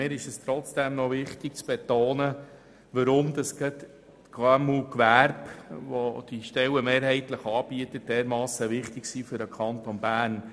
Mir ist es trotzdem wichtig zu betonen, warum gerade die KMU und das Gewerbe, welche diese Stellen mehrheitlich anbieten, dermassen wichtig sind für den Kanton Bern.